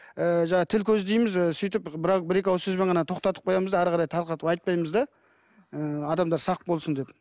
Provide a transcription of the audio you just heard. ы жаңағы тіл көз дейміз ы сөйтіп бір екі ауыз сөзбен тоқтатып қоямыз да әрі қарай тарқатып айтпаймыз да ы адамдар сақ болсын деп